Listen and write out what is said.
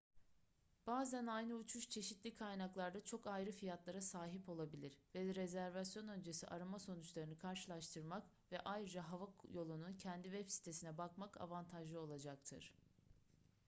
bazen aynı uçuş çeşitli kaynaklarda çok ayrı fiyatlara sahip olabilir ve rezervasyon öncesi arama sonuçlarını karşılaştırmak ve ayrıca hava yolunun kendi web sitesine bakmak avantajlı olacaktır